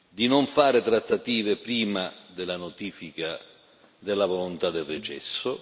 di non fare trattative prima della notifica della volontà del recesso.